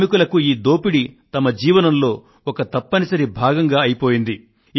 శ్రామికులకు ఈ దోపిడి వారి జీవనంలో ఒక తప్పనిసరి భాగంగా అయిపోయింది